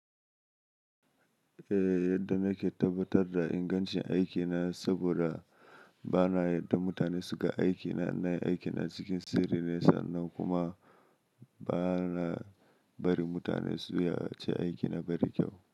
Eh, yadda nake tabbatar da ingancin aikina saboda ba na yarda mutane su ga aikina, na yi aikina cikin sirri ne sannan kuma ba na bari mutane su yi iyace aikina bai da kyau.